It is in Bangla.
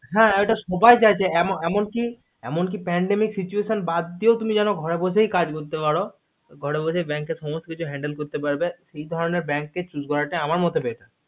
হা এইটা সবাই চাইছে এমন কি এমন কি pandemic situation বাদ দিয়েও তুমি যাতে ঘরে বসেই কাজ বাজ করতে পারো ঘরে বসেই bank এর সমস্ত কিছু handle করতে পারবে এই ধরণের কে choose করাটা আমার মেতে batter